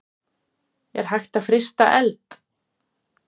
Er hægt að frysta eld?